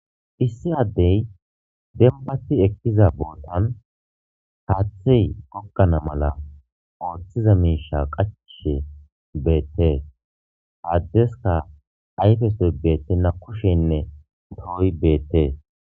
Issi addey dembati ekkiza boodan haaththey gokgana mala ooththiza miisha qacishe beettees aaddeska ayfesoy beettena kushenne dooy beettees